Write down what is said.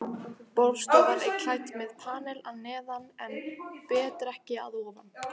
Borðstofan er klædd með panel að neðan en betrekki að ofan.